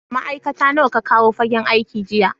Ma'aikata nawa ka kawo fagen aiki jiya?